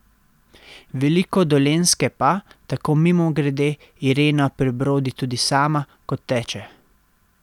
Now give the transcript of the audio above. Veliko Dolenjske pa, tako mimogrede, Irena prebrodi tudi sama, ko teče.